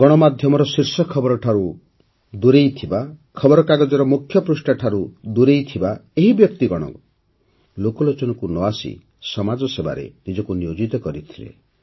ଗଣମାଧ୍ୟମର ଶୀର୍ଷ ଖବର ଠାରୁ ଦୂରରେ ଥିବା ଖବରକାଗଜର ମୁଖ୍ୟ ପୃଷ୍ଠାଠାରୁ ଦୂରରେ ଥିବା ଏହି ବ୍ୟକ୍ତିଗଣ ଲୋକଲୋଚନକୁ ନ ଆସି ସମାଜସେବାରେ ନିଜକୁ ନିୟୋଜିତ କରି ରଖିଥିଲେ